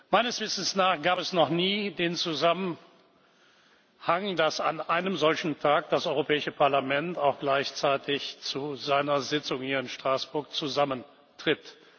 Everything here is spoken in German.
Meines Wissens nach gab es noch nie den Zusammenhang, dass an einem solchen Tag das Europäische Parlament auch gleichzeitig zu seiner Sitzung hier in Straßburg zusammentritt.